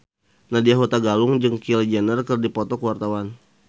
Nadya Hutagalung jeung Kylie Jenner keur dipoto ku wartawan